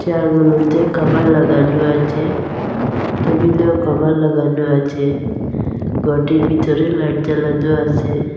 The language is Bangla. চেয়ারগুলোতে কভার লাগানো আছে টেবিলেও কভার লাগানো আছে গরটির ভিতরে লাইট জ্বালানো আসে।